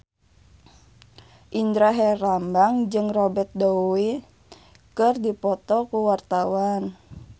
Indra Herlambang jeung Robert Downey keur dipoto ku wartawan